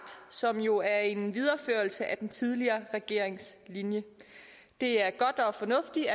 som jo er en videreførelse af den tidligere regerings linje det er godt og fornuftigt